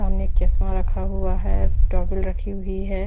सामने एक चश्मा रखा हुआ है टावेल रखी हुई है।